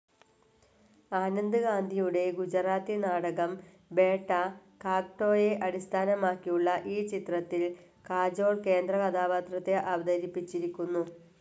ആനന്ദ് ഗാന്ധിയുടെ ഗുജറാത്തി നാടകം ബേട്ട, കാഗ്ടോയെ അടിസ്ഥാനമാക്കിയുളള ഈ ചിത്രത്തിൽ കജോൾ കേന്ദ്രകഥാപാത്രത്തെ അവതരിപ്പിച്ചിരിക്കുന്നു.